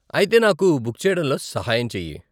ఆయితే నాకు బుక్ చెయ్యడంలో సహాయం చెయ్యి.